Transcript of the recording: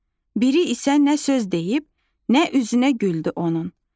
Biri isə nə söz deyib, nə üzünə güldü onun.